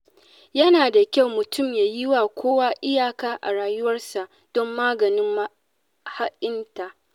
Yana da kyau mutum ya yiwa kowa iyaka a rayuwarsa don maganin maha'inta.